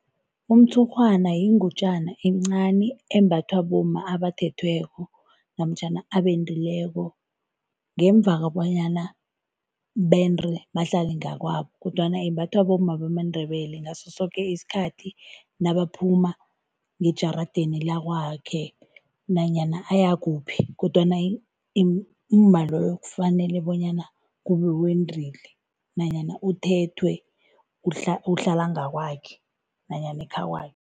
Umtshurhwana yingutjana encani embathwa bomma abathethweko namtjhana abendileko. Ngemva bonyana bende bahlale ngakwabo kodwana imbathwa bomma bamaNdebele. Ngaso soke isikhathi nabaphuma ngejarideni lakwakhe nanyana uyakuphi kodwana umma loyo kufanele bonyana kube wendile nanyana uthethwe uhlala ngakwakhe nanyana ekhakwakhe.